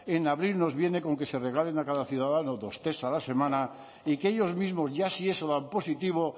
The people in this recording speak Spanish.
en abril nos viene con que se regalen a cada ciudadano dos test a la semana y que ellos mismos ya si eso dan positivo